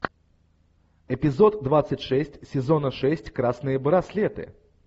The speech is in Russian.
эпизод двадцать шесть сезона шесть красные браслеты